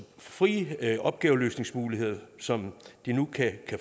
frie opgaveløsningsmuligheder som de nu kan